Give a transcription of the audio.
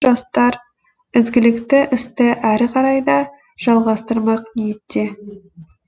жастар ізгілікті істі әрі қарай да жалғастырмақ ниетте